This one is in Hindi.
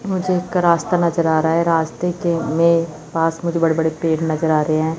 मुझे एक रास्ता नजर आ रहा है रास्ते के में पास मुझे बड़े बड़े पेड़ नजर आ रहे हैं।